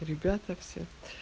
ребята все